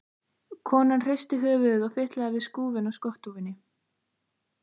Konan hristi höfuðið og fitlaði við skúfinn á skotthúfunni.